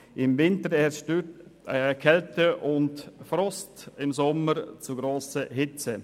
Im Winter herrschen Kälte und Frost und im Sommer zu grosse Hitze.